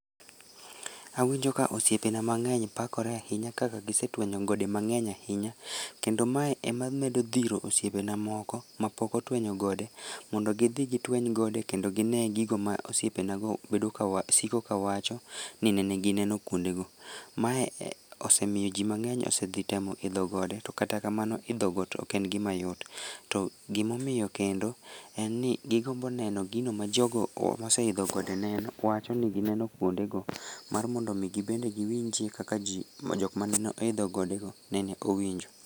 Awinjo ka osiepe na mang'eny pakore ahinya kaka gisetwenyo gode mang'eny ahinya kendo mae ema medo dhiro osiepena moko mapok otwenyo gode mondo gidhi gitweny gode kendo gine gigo ma osipena go bedo ka wacho, siko ka wacho ni nene gineno kuonde go. Mae osemiyo jii mang'eny osedhi temo idho gode kata kamano idho got oken gimayot. To gima omiyo kendo en ni gigombo neno gima jogo moseidho gode neno, wachoni gineno kuonde go mar mondo mi gibende giwinjie kaka jok mane oidho gode go nene owinjo